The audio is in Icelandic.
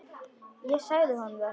Ég sagði honum það.